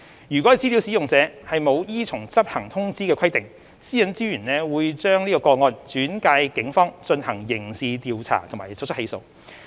如資料使用者沒有依從執行通知的規定，私隱專員會把個案轉介警方進行刑事調查及作出起訴。